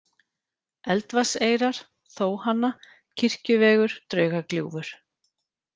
Eldvatnseyrar, Þóhanna, Kirkjuvegur, Draugagljúfur